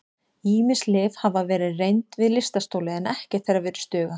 Ýmis lyf hafa verið reynd við lystarstoli en ekkert þeirra virðist duga.